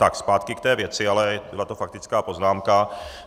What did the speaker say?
Tak zpátky k té věci, ale byla to faktická poznámka.